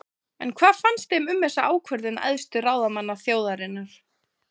En hvað finnst þeim um þessa ákvörðun æðstu ráðamanna þjóðarinnar?